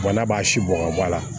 n'a b'a si bɔn ka bɔ a la